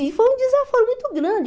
E foi um desaforo muito grande.